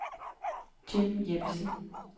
Jim Jeppesen